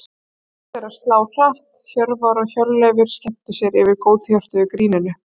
Hjörtu þeirra slá hratt, Hjörvar og Hjörleifur skemmtu sér yfir góðhjörtuðu gríninu.